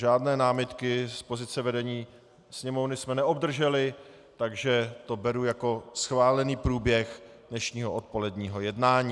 Žádné námitky z pozice vedení Sněmovny jsme neobdrželi, takže to beru jako schválený průběh dnešního odpoledního jednání.